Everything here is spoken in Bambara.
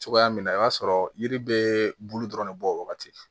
Cogoya min na i b'a sɔrɔ yiri bɛ bulu dɔrɔn de bɔ o wagati